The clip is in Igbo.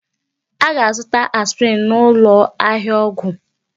A ga-azụta aspirin n'ụlọ ahịa ọgwụ.